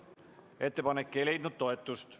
Ettepanek ei leidnud toetust.